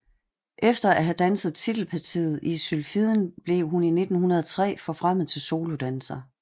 Efter at have danset titelpartiet i Sylfiden blev hun i 1903 forfremmet til solodanser